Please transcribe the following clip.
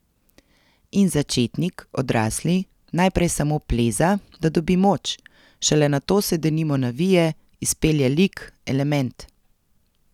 In začetnik, odrasli, najprej samo pleza, da dobi moč, šele nato se denimo navije, izpelje lik, element.